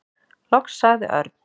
Loks sagði Örn.